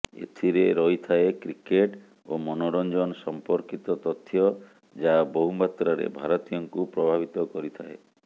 ଏଥିରେ ରହିଥାଏ କ୍ରିକେଟ ଓ ମନୋରଞ୍ଜନ ସମ୍ପର୍କୀତ ତଥ୍ୟ ଯାହା ବହୁମାତ୍ରାରେ ଭାରତୀୟଙ୍କୁ ପ୍ରଭାବିତ କରିଥାଏ